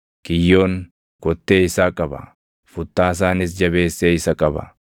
Kiyyoon kottee isaa qaba; futtaasaanis jabeessee isa qaba.